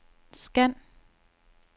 scan